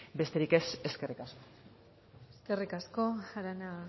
besterik ez eskerrik asko eskerrik asko arana